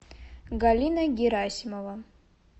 галина герасимова